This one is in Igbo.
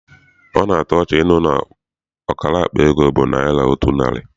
Ọ na-atọ ọchị ịnụ na ọkara akpa ego bụ naịra otu narị.